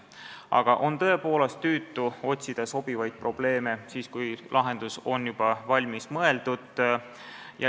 Aga on tõepoolest tüütu otsida sobivaid probleeme siis, kui lahendus on juba valmis mõeldud.